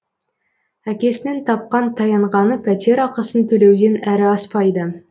әкесінің тапқан таянғаны пәтер ақысын төлеуден әрі аспайды